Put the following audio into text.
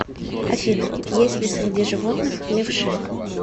афина есть ли среди животных левши